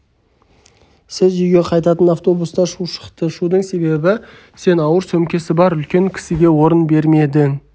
сіз үйге қайтатын автобуста шу шықты шудың себебі сен ауыр сөмкесі бар үлкен кісіге орын бермедің